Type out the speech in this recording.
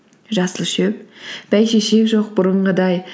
жасыл шөп бәйшешек жоқ бұрынғыдай